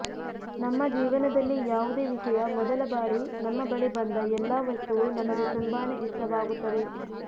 ನಮ್ಮ ಜೀವನದಲ್ಲಿ ಯಾವುದೆ ವಿಷಯ ಮೊದಲ ಬಾರಿ ನಮ್ಮ ಬಳಿ ಬಂದ ಎಲ್ಲಾ ವಸ್ತುವೂ ನಮಗೆ ತುಂಬಾನೆ ಇಷ್ಟವಾಗುತ್ತದೆ